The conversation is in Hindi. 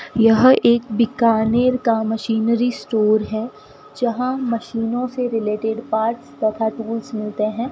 यह एक बीकानेर का मशीनरी स्टोर है। जहां मशीनों से रिलेटेड पार्ट्स तथा टूल्स मिलते हैं।